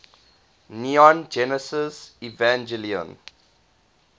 neon genesis evangelion